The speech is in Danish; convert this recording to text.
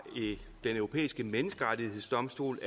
den europæiske menneskerettighedsdomstols